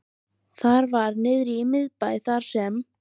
Það var niðri í miðbæ, þar sem